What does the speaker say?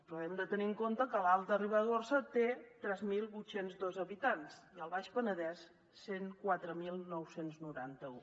però hem de tenir en compte que l’alta ribagorça té tres mil vuit cents i dos habitants i el baix penedès cent i quatre mil nou cents i noranta un